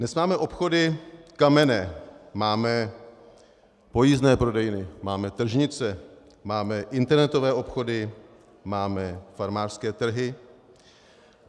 Dnes máme obchody kamenné, máme pojízdné prodejny, máme tržnice, máme internetové obchody, máme farmářské trhy.